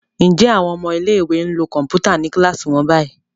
Njé àwọn ọmọ ilé ìwé nlò Kọ̀ǹpútà ní kilasi wón bayí